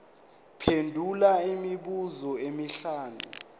phendula imibuzo emihlanu